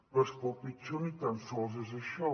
però és que el pitjor ni tan sols és això